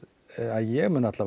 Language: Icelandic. að ég mun